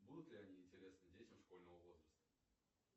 будут ли они интересны детям школьного возраста